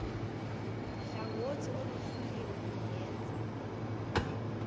hlangothi oluhluliwe bungenza